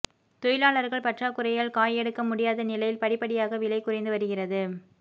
தொழிலாளர்கள் பற்றாக்குறையால் காய் எடுக்க முடியாத நிலையில் படிப்படியாக விலை குறைந்து வருவது